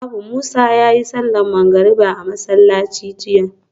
Babu Musa yayi sallar magrib a masallaci jiya